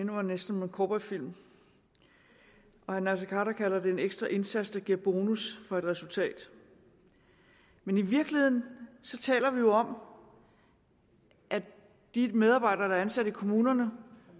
mig næsten om en cowboyfilm og herre naser khader kalder det en ekstra indsats der giver bonus for et resultat men i virkeligheden taler vi jo om at de medarbejdere der er ansat i kommunerne